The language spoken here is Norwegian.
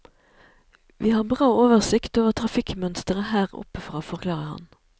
Vi har bra oversikt over trafikkmønsteret der oppe fra, forklarer han.